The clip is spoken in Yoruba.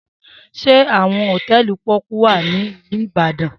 Se awon hotẹẹli poku wa ni ilu Ibadan?